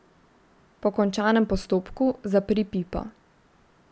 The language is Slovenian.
Po končanem postopku zapri pipo.